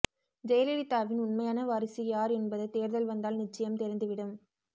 ஜெயலலிதாவின் உண்மையான வாரிசு யார் என்பது தேர்தல் வந்தால் நிச்சயம் தெரிந்துவிடும்